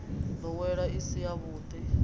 wa ndowelo i si yavhudi